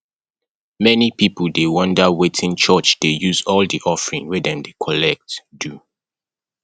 many pipo dey wonder wetin church dey use all the offering wey dem dey collect do